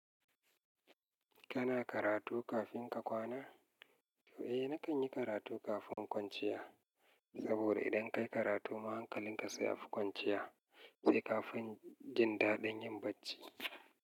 Kana karatu kafin ka kwana? Eh, na kan yi karatu kafin kwanciya. Saboda idan ka yi karatu, mahankalin ka sai ya fi kwanciya, sai kafin jin daɗin yin bacci.